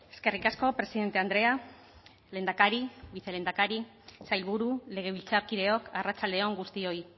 eskerrik asko presidente andrea lehendakari vicelehendakari sailburu legebiltzarkideok arratsalde on guztioi